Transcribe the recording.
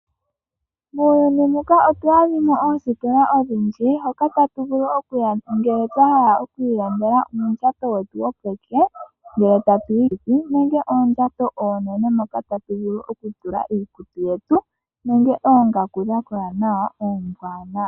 Muuyuni omuudha oositola odhindji hoka tatu vulu okuya ngele twahala okulanda uundjato wetu wopeke nenge oondjato oonene moka tatu vulu iikutu yetu nenge oongaku oombwanawa.